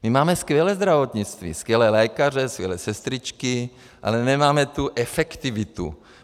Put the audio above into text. My máme skvělé zdravotnictví, skvělé lékaře, skvělé sestřičky, ale nemáme tu efektivitu.